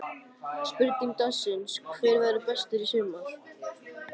Spurning dagsins er: Hver verður bestur í sumar?